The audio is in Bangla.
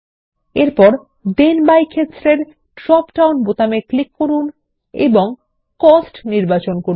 প্রথমে থেন বাই ক্ষেত্রের নিচে ড্রপ ডাউন বোতামে ক্লিক করুন এবং কস্ট নির্বাচন করুন